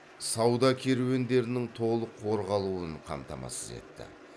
сауда керуендерінің толық қорғалуын қамтамасыз етті